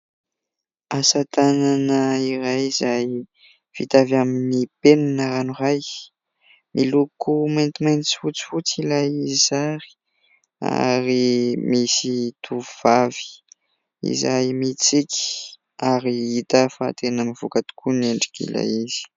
Asa tanana iray izay vita avy amin'ny penina ranoray. Miloko maintimainty sy fotsifotsy ilay sary ary misy tovovavy izay mitsiky ary hita fa tena mivoaka tokoa ny endrik'ilay izy.